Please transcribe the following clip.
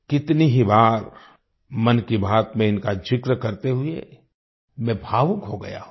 कितनी ही बार मन की बात में इनका जिक्र करते हुए मैं भावुक हो गया हूँ